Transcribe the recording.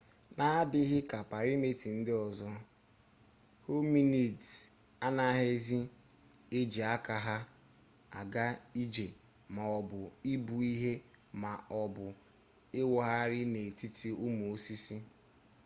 n'adịghị ka praịmetị ndị ọzọ hominids anaghịzi eji aka ha aga-ije ma ọ bụ ibu ihe ma ọ bụ ịwụgharị n'etiti ụmụ osisi